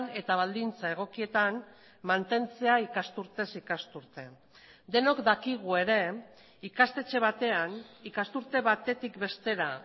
eta baldintza egokietan mantentzea ikasturtez ikasturte denok dakigu ere ikastetxe batean ikasturte batetik bestera